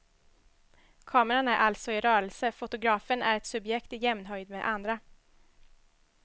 Kameran är alltså i rörelse, fotografen är ett subjekt i jämnhöjd med andra.